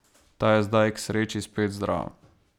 Ta je zdaj k sreči spet zdrav.